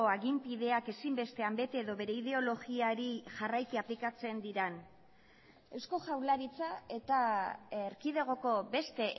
aginpideak ezinbestean bete edo bere ideologiari jarraiki aplikatzen diren eusko jaurlaritza eta erkidegoko beste